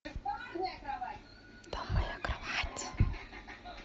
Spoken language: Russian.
там моя кровать